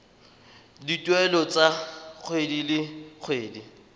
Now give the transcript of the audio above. dituelo tsa kgwedi le kgwedi